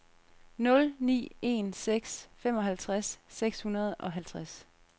nul ni en seks femoghalvtreds seks hundrede og halvtreds